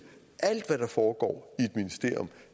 at alt hvad der foregår er